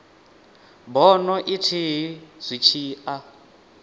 bono ithihi zwi tshi a